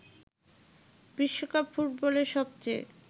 বিশ্বকাপ ফুটবলের সবচেয়ে